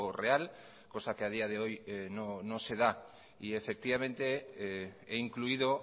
real cosa que a día de hoy no se da he incluido